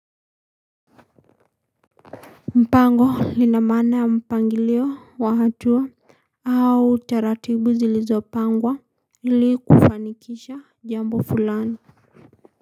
Mpango lina maana ya mpangilio wa hatua au taratibu zilizopangwa ili kufanikisha jambo fulani.